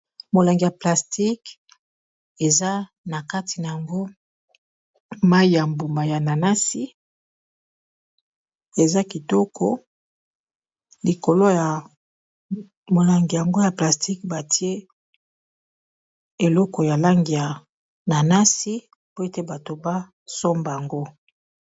Molangi ya plastique eza na kati nango mayi ya mbuma ya nanasi eza kitoko likolo ya molangi yango ya plastique batie eloko ya langi ya nanasi po ete bato basomba ngo.